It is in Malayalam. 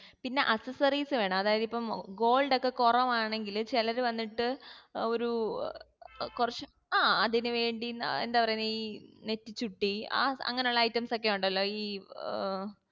പിന്നാ accessories വേണോ അതായത് ഇപ്പം gold ക്കെ കുറവാണെങ്കിൽ ചെലര് വന്നിട്ട് ഒരു ഏർ കുറച് ആ അതിന് വേണ്ടി ആ എന്താ പറയണേ ഈ നെറ്റിച്ചുട്ടി ആ അങ്ങനെ ഉള്ള items ഒക്കെ ഉണ്ടല്ലോ ഈ അഹ്